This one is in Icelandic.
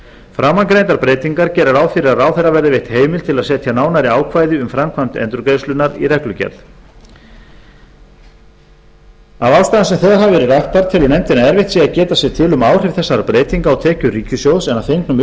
framangreindar breytingar gera ráð fyrir að ráðherra verði veitt heimild til að setja nánari ákvæði um framkvæmd endurgreiðslunnar í reglugerð af ástæðum sem þegar hafa verið raktar telur nefndin að erfitt sé að geta sér til um áhrif þessara breytinga á tekjur ríkissjóðs en að fengnum